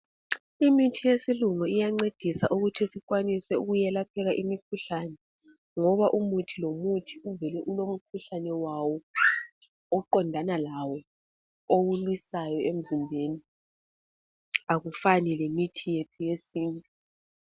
Imithi yesilungu iyancedisa ukuthi sikwanise ukuyelapheka imikhuhlane ngoba umuthi lomuthi uvele ulomkhuhlane wawo oqondana lawo owulwisayo emzimbeni, akufani lemithi yethu yesintu.